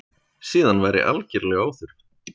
Síðan væri algerlega óþörf